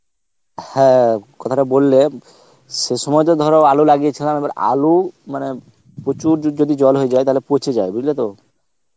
হ্যাঁ কথাটা বললে, সে সময় তো ধর আলু লাগিয়ে ছিলাম আলু মানে প্রচুর যদি জল হয়ে যায় তাহলে পচে যায় বুজলে তো